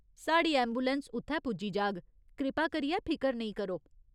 साढ़ी ऐंबुलैंस उत्थै पुज्जी जाग, कृपा करियै फिकर नेईं करो।